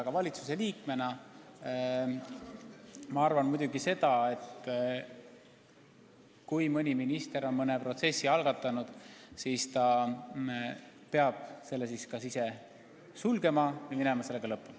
Aga valitsuse liikmena ma arvan seda, et kui üks minister on mõne protsessi algatanud, siis ta peab selle kas ise lõpetama või minema sellega lõpuni.